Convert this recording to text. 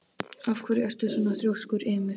Af hverju ertu svona þrjóskur, Ymir?